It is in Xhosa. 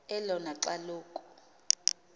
elona xa loku